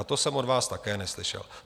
A to jsem od vás také neslyšel.